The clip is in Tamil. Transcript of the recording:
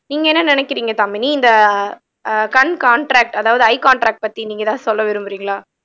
நீங்க என்ன நினைக்கிறீங்க தாமினி இந்த ஆஹ் கண் காண்ட்ராக்ட் அதாவது ஐ காண்ட்ராக்ட் பத்தி நீங்க ஏதாவது சொல்ல விரும்புறீங்களா